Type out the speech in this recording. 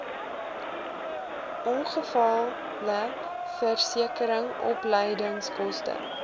ongevalleversekering opleidingskoste